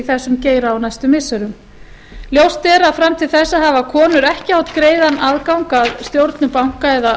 þessum geira á næstu missirum ljóst er að fram til þessa hafa konur ekki átt greiðan aðgang að stjórnum banka eða